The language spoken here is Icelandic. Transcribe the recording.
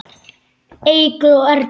Eygló Erla.